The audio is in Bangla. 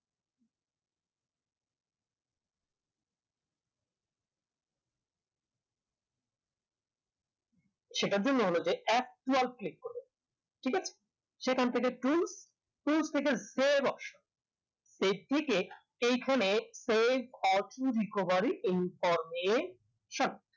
সেটার জন্য হল যে f twelve click করব ঠিক আছে সেখান থেকে two two থেকে এর থেকে এখানে save or to recovery information